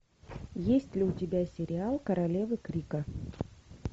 есть ли у тебя сериал королевы крика